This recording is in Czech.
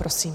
Prosím.